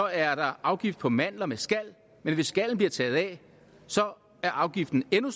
er afgift på mandler med skal men hvis skallen bliver taget af er afgiften endnu